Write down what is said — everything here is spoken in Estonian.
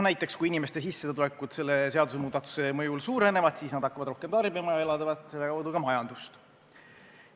Näiteks, kui inimestel sissetulekud selle seadusemuudatuse mõjul suurenevad, siis nad hakkavad rohkem tarbima ja elavdavad selle kaudu ka majandust.